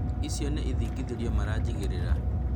icio nĩ ithingithĩrio maranjigĩrĩra